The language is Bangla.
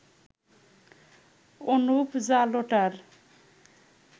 অনুপ জালোটার